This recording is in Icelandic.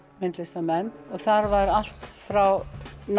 myndlistarmenn þar voru allt frá